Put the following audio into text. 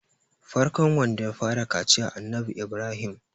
farkon wanda ya fara kaciya Annabi Ibrahim